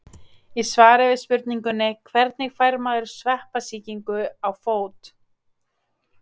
Í svari við spurningunni Hvernig fær maður sveppasýkingu á fót?